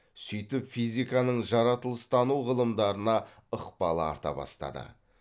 сөйтіп физиканың жаратылыстану ғылымдарына ықпалы арта бастады